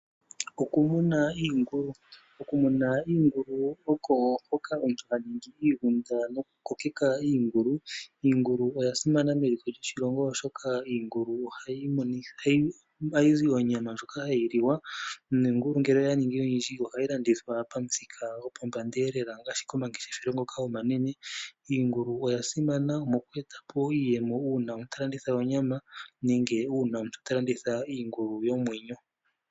Okumuna iingulu, okumuna iingulu oko hoka pmuntu haningi iigunda nokukokeka iingulu . Iingulu oya simana meliko lyoshilongo oshoka ohayi zi onyama ndjoka hayi liwa niingulu ngele oya ningi oyindji ohayi landithwa pamuthika gopombanda ihe lela ngaashi komangeshefelo ngoka omanene. Iingulu oya simana moku eta po iiyemo uuna to landitha onyama nenge omuntu ta landitha iingulu yomwenyo.